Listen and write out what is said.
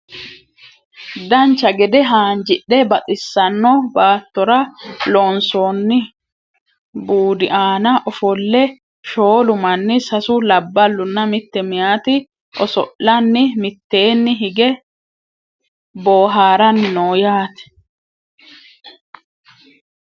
dancha gede haanjidhe baxissanno baattora loonsoonni buudi aana ofolle shoolu manni sasu labballunna mitte mayeeti oso'lanni mitteeni hige boohaarranni no yaate